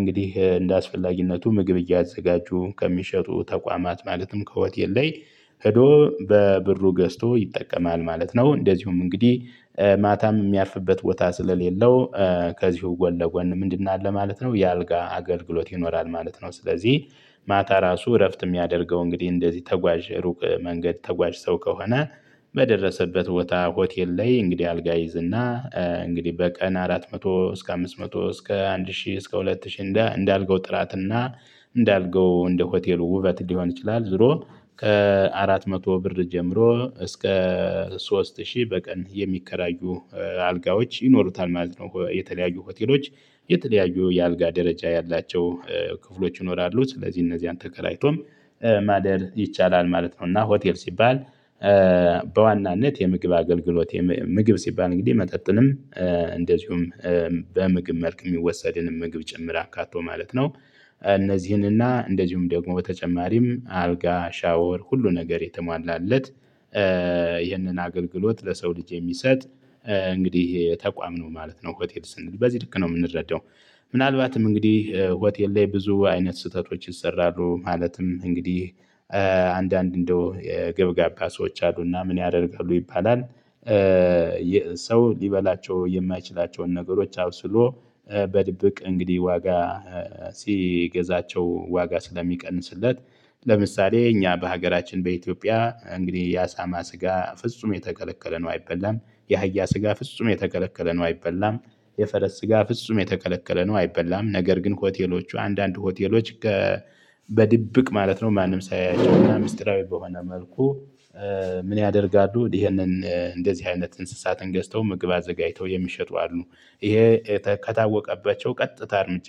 እንግዲህ እንደ አስፈላጊነቱ ምግብ እያዘጋጁ ከሚሸጡ ተቋማት ማለትም ከሆቴል ላይ ሄዶ በብሩ ገዝቶ ይጠቀማል ማለት ነው። እንደዚሁም እንግዲህ ማታም የሚያርፍበት ቦታ ስለሌለው። ከዚሁ ጎን ለጎን ምንድነው አለ ማለት ነው። የአልጋ አገልግሎት ይኖራል ማለት ነው። ስለዚህ ማታ ራሱ እረፍት የሚያደርገው እንግዲህ እንደዚህ ተጓዥ ሩቅ መንገድ ተጓዥ ሰው ከሆነ። በደረሰበት ቦታ ሆቴል ላይ እንግዲህ አልጋ ይይዝና እንግዲህ በቀን አራት መቶ እስከ አምስት መቶ እስከ አንድ ሺህ እስከ ሁለት ሺህ እንዳልጋው ጥራትና። እንዳልጋው እንደ ሆቴሉ ውበት ሊሆን ይችላል። ዞሮ ከአራት መቶ ብር ጀምሮ እስከ ሶስት ሺህ በቀን የሚከራዩ። አልጋዎች ይኖሩታል ማለት ነው። የተለያዩ ሆቴሎች የተለያዩ የአልጋ ደረጃ ያላቸው ክፍሎች ይኖራሉ ስለዚህ እነዚህን ተከራይቶም ማደር ይቻላል ማለት ነው። እና ሆቴል ሲባል። በዋናነት የምግብ አገልግሎት ምግብ ሲባል እንግዲህ መጠጥንም እንደዚሁም በምግብ መልክ የሚወሰድንን ምግብ ጭምር አካቶ ማለት ነው። እነዚህንና እንደዚሁም ደግሞ በተጨማሪም አልጋ ሻወር ሁሉ ነገር የተሟላለት። ይህንን አገልግሎት ለሰው ልጅ የሚሰጥ እንግዲህ ተቋም ነው ማለት ነው። ሆቴል ስንል በዚህ ልክ ነው የምንረዳው። ምናልባትም እንግዲህ ሆቴል ላይ ብዙ አይነት ስህተቶች ይሰራሉ ማለትም እንግዲህ። አንዳንድ እንደው የገብጋባ ሰዎች አሉና ምን ያደርጋሉ ይባላል? ሰው ሊበላቸው የማይችላቸውን ነገሮች አብስሎ በድብቅ እንግዲህ ዋጋ ሲገዛቸው ዋጋ ስለሚቀንስለት። ለምሳሌ እኛ በሀገራችን በኢትዮጵያ እንግዲህ የአሳማ ስጋ ፍጹም የተከለከለ ነው አይበላም። የአህያ ስጋ ፍጹም የተከለከለ ነው አይበላም። የፈረስ ስጋ ፍጹም የተቀለቀለ ነው አይበላም ነገር ግን ሆቴሎቹ አንዳንድ ሆቴሎች። በድብቅ ማለት ነው ማንም ሳያያቸው እና ሚስጥራዊ በሆነ መልኩ። ምን ያደርጋሉ ይሄንን እንደዚህ አይነት እንስሳትን ገዝተው ምግብ አዘጋጅተው የሚሸጡ አሉ። ይሄ ከታወቀባቸው ቀጥታ እርምጃ